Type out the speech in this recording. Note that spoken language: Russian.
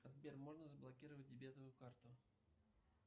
сбер можно заблокировать дебетовую карту